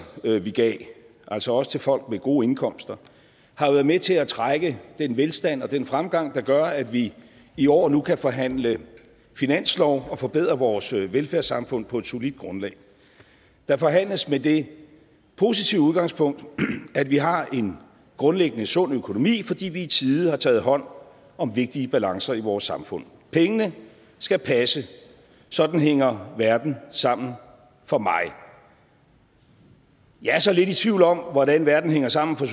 vi gav også også til folk med gode indkomster har været med til at trække den velstand og den fremgang der gør at vi i år nu kan forhandle finanslov og forbedre vores velfærdssamfund på et solidt grundlag der forhandles med det positive udgangspunkt at vi har en grundlæggende sund økonomi fordi vi i tide har taget hånd om vigtige balancer i vores samfund pengene skal passe sådan hænger verden sammen for mig jeg er så lidt i tvivl om hvordan verden hænger sammen for